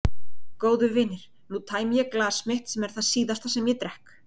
Góðu vinir, nú tæmi ég glas mitt sem er það síðasta sem ég drekk.